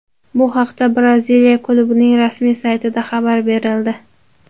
Bu haqda Braziliya klubining rasmiy saytida xabar berildi .